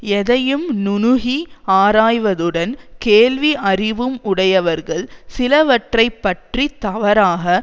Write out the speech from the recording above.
எதையும் நுணுகி ஆராய்வதுடன் கேள்வி அறிவும் உடையவர்கள் சிலவற்றை பற்றி தவறாக